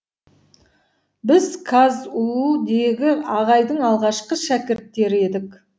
біз қазұу дегі ағайдың алғашқы шәкірттері едік